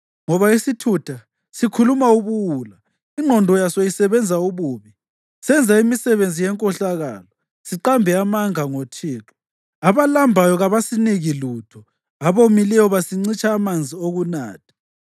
Ngoba isithutha sikhuluma ubuwula, ingqondo yaso isebenza ububi: Senza imisebenzi yenkohlakalo, siqambe amanga ngoThixo; abalambayo kasibaniki lutho, abomileyo sibancitsha amanzi okunatha.